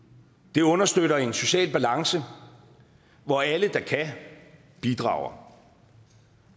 det understøtter en social balance hvor alle der kan bidrager